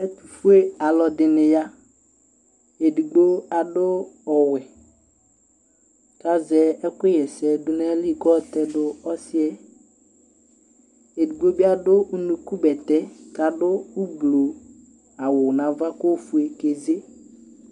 Ɛtʋfuealʋ ɛdɩnɩ ya Edigbo adʋ ɔwɛ kʋ azɛ ɛkʋ ɣɛsɛdʋnʋayili kʋ ayɔ tɛdʋ ɔsɩ yɛ Edigbo bɩ adʋ unukubɛtɛ, kʋ adʋ ʋblʋ awʋ nʋ ava kʋ ofue keze